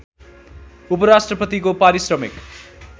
उपराष्ट्रपतिको पारिश्रमिक